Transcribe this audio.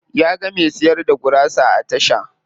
Ya ga me siyar da gurasa a tasha.